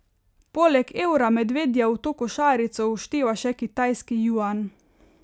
Poleg evra Medvedjev v to košarico všteva še kitajski juan.